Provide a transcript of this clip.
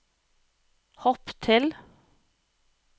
hopp til